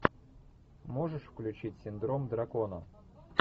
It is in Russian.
можешь включить синдром дракона